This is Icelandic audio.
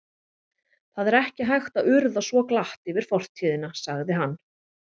Það er ekki hægt að urða svo glatt yfir fortíðina sagði hann.